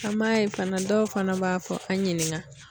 An m'a ye fana dɔw fana b'a fɔ an ɲininka.